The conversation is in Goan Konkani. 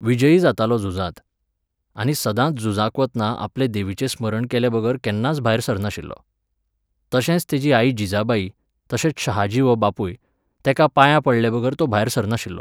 विजयी जातालो झुजांत. आनी सदांच झुजाक वतना आपले देवीचें स्मरण केलेबगर केन्नाच भायर सरनाशिल्लो. तशेंच तेजी आई जिजाबाई, तशेंच शहाजी हो बापूय, तेंकां पायां पडलेबगर तो भायर सरनाशिल्लो